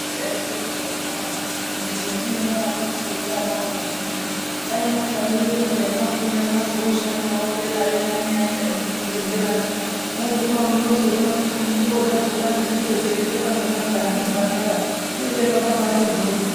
Ndaizvironza nevana vangu kuno kuti hee munonyara kufunda ana angu nhai kudai mwatsamwirira peya mwafunda mwazooshandawo dera yoo mwanyai enda nemuzvibhedhlera mwoo munozoguma moona kuti nenguwo dzakona dzinenge dzeipfekwa ngemajaha nembandara zvinenge zvakambaiti mboryo.